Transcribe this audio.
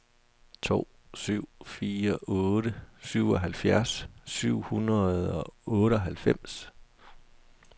to syv fire otte syvoghalvfjerds syv hundrede og otteoghalvfems